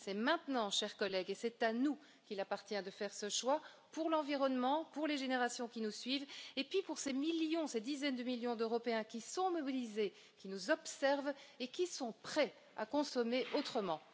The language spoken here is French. C'est maintenant, chers collègues, et c'est à nous qu'il appartient de faire ce choix pour l'environnement, pour les générations qui nous suivent et aussi pour ces millions, ces dizaines de millions d'Européens qui sont mobilisés, qui nous observent et qui sont prêts à consommer autrement.